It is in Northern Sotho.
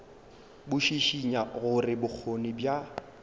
bo šišinya gore bokgoni bja